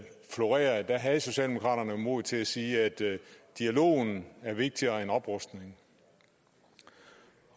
florerede og der havde socialdemokraterne mod til at sige at dialogen er vigtigere end oprustningen